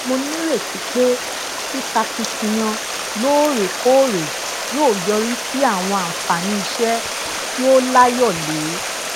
mo nírètí pé sisakitiyan loorekoore yóò yọrí sí àwọn àǹfààní iṣẹ tí ó layole